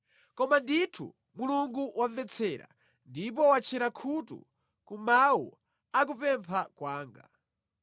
koma ndithu Mulungu wamvetsera ndipo watchera khutu ku mawu a kupempha kwanga.